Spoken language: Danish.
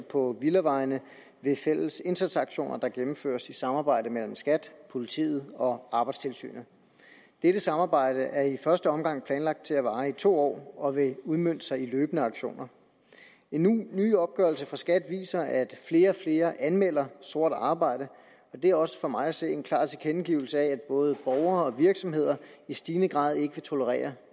på villavejene ved fælles indsatsaktioner der gennemføres i et samarbejde mellem skat politiet og arbejdstilsynet dette samarbejde er i første omgang planlagt til at vare i to år og vil udmønte sig i løbende aktioner en ny opgørelse fra skat viser at flere og flere anmelder sort arbejde det er også for mig at se en klar tilkendegivelse af at både borgere og virksomheder i stigende grad ikke vil tolerere